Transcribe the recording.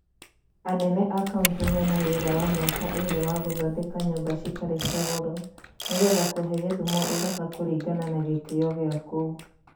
Anene a Kaũnti mena wĩra wa mĩaka ĩrĩ wa gũthondeka nyũmba citarĩ cia goro nĩgetha kũhe Gĩthumo ũthaka kũringana na gĩtĩo gĩa kũu.